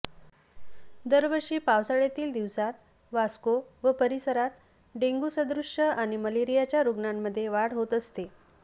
दरवर्षी पावसाळय़ातील दिवसांत वास्को व परीसरात डेंग्यू सदृष्य आणि मलेरीयाच्या रूग्णांमध्ये वाढ होत असते